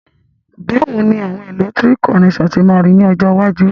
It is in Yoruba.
Bàwoni àwon electrical connector se ma ri ni ọjọ́ iwájú?